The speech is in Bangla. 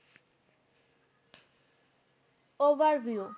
Overview